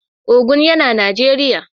Ogun yana Najeriya.